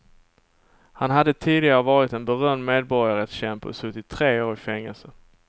Han hade tidigare varit en berömd medborgarrättskämpe och suttit tre år i fängelse.